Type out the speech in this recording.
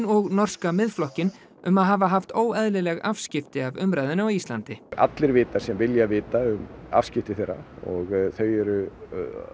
og norska Miðflokkinn um að hafa haft óeðlileg afskipti af umræðunni á Íslandi allir vita sem vilja vita um afskipti þeirra og þau eru